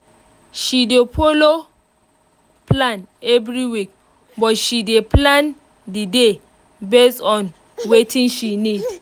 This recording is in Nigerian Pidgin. she dey follow plan every week but she dey plan the day based on watin she need